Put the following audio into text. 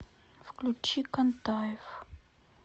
включи контаев